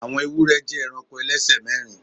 Àwọn ewúrẹ jẹ́ eranko ẹlẹ́sẹ̀ mẹ́rin